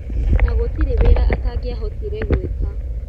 Na gũtirĩ wĩra atangĩahotire gwĩka.